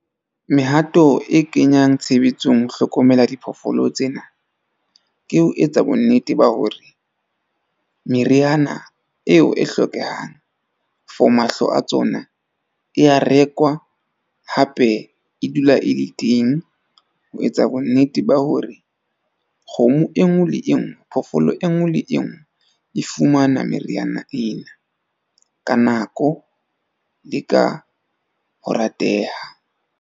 Mehato e kenyang tshebetsong ho hlokomela diphoofolo tsena ke ho etsa bonnete ba hore meriana eo e hlokehang, for mahlo a tsona e a rekwa hape e dula e le teng ho etsa bonnete ba hore kgomo e nngwe le e nngwe. Phoofolo e nngwe le e nngwe e fumana meriana ena ka nako le ka ho rateha.